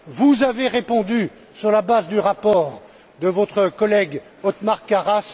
Vous avez répondu sur la base du rapport de votre collègue, Othmar Karas.